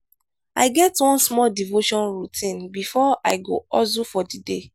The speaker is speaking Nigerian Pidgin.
i get one small devotion routine before i go hustle for di day.